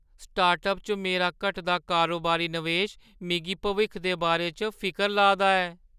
Startup च मेरा घटदा कारोबारी नवेश मिगी भविक्ख दे बारे च फिकर ला दा ऐ।